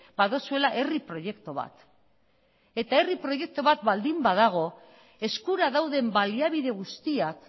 baduzuela herri proiektu bat eta herri proiektu bat baldin badago eskura dauden baliabide guztiak